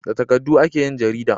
Da takardu ake yin jarida